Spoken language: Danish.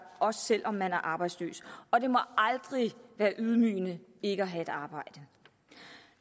også selv om man er arbejdsløs og det må aldrig være ydmygende ikke at have et arbejde